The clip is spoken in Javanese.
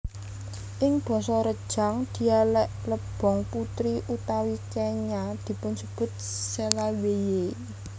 Ing basa Rejang dialek Lebong putri utawi kenya dipunsebut Selaweie